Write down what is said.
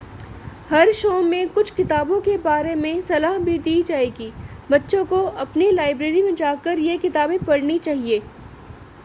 हर show में कुछ किताबों के बारे में सलाह भी दी जाएगी बच्चों को अपनी लाइब्रेरी में जाकर ये किताबें पढ़नी चाहिए